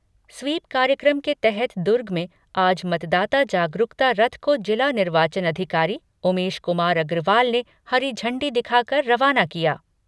SVEEP कार्यक्रम के तहत दुर्ग में आज मतदाता जागरूकता रथ को जिला निर्वाचन अधिकारी उमेश कुमार अग्रवाल ने हरी झंडी दिखाकर रवाना किया।